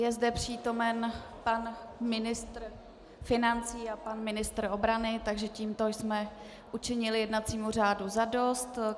Je zde přítomen pan ministr financí a pan ministr obrany, takže tímto jsme učinili jednacímu řádu zadost.